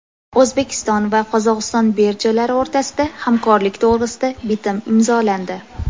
O‘zbekiston va Qozog‘iston birjalari o‘rtasida hamkorlik to‘g‘risida bitim imzolandi.